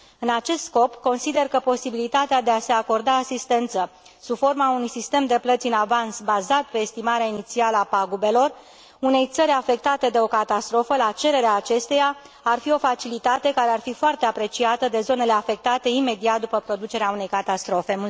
În acest scop, consider că posibilitatea de a se acorda asistență sub forma unui sistem de plăți în avans bazat pe estimarea inițială a pagubelor unei țări afectate de o catastrofă, la cererea acesteia, ar fi o facilitate care ar fi foarte apreciată de zonele afectate imediat după producerea unei catastrofe.